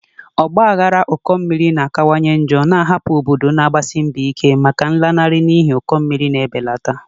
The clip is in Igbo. Ọgba aghara ụkọ mmiri na-akawanye njọ, na-ahapụ obodo na-agbasi mbọ ike maka nlanarị n'ihi ụkọ mmiri na-ebelata.